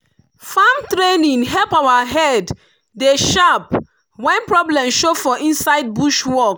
farm training help our head dey sharp when problem show for inside bush work.